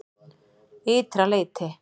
Ytra leyti